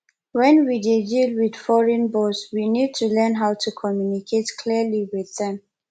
when we dey deal with foreign boss we need to learn how to communicate clearly with them